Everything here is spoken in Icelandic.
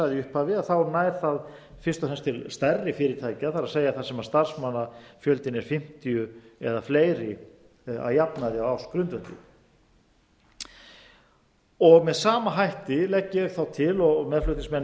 í upphafi nær það fyrst og fremst til stærri fyrirtækja það er þar sem starfsmannafjöldinn er fimmtíu eða fleiri að jafnaði á ársgrundvelli með sama hætti legg ég þá til og meðflutningsmenn mínir